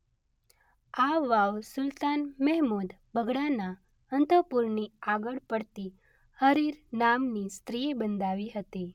આ વાવ સુલતાન મહેમુદ બગડાના અંતઃપુરની આગળ પડતી હરિર નામની સ્ત્રીએ બંધાવી હતી.